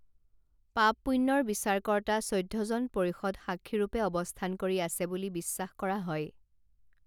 পাপ পুণ্যৰ বিচাৰকৰ্তা চৈধ্যজন পৰিষদ সাক্ষীৰূপে অৱস্থান কৰি আছে বুলি বিশ্বাস কৰা হয়